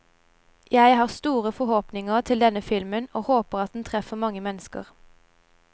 Jeg har store forhåpninger til denne filmen, og håper at den treffer mange mennesker.